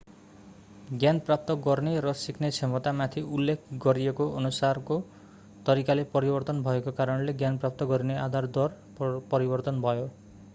ज्ञान प्राप्त गर्ने र सिक्ने क्षमतामाथि उल्लेख गरिएको अनुसारको तरिकाले परिवर्तन भएको कारणले ज्ञान प्राप्त गरिने आधार दर परिवर्तन भयो